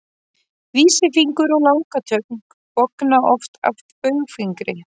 vísifingur og langatöng bogna oft að baugfingri